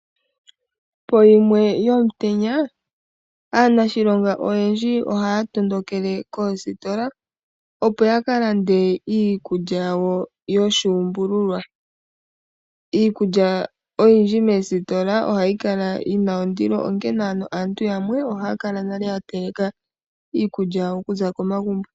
Po 13h00 yomutenya aanashilonga oyendji ohaya tondokele koositola opo yakalande iikulya yawo yoshuumbululwa. Iikulya oyindji moositola ohayi kala yina ondilo onkene ano aantu yamwe ohaya kala nale yateleka iikulya yawo okuza komagumbo.